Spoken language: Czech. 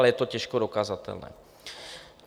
Ale je to těžko dokazatelné.